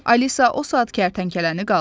Alisa o saat kərtənkələni qaldırdı.